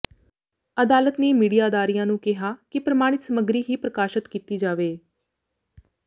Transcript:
ਅਦਾਲਤ ਨੇ ਮੀਡੀਆ ਅਦਾਰਿਆਂ ਨੂੰ ਕਿਹਾ ਕਿ ਪ੍ਰਮਾਣਿਤ ਸਮੱਗਰੀ ਹੀ ਪ੍ਰਕਾਸ਼ਤ ਕੀਤੀ ਜਾਵੇ